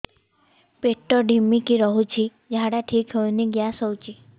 ପେଟ ଢିମିକି ରହୁଛି ଝାଡା ଠିକ୍ ହଉନି ଗ୍ୟାସ ହଉଚି